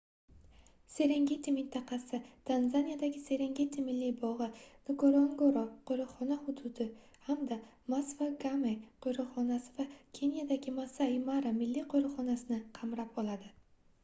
serengeti mintaqasii tanzaniyadagi serengeti milliy bogʻi ngorongoro qoʻriqxona hududi hamda masva game qoʻriqxonasi va kenyadagi maasai mara milliy qoʻriqxonasini qamrab oladi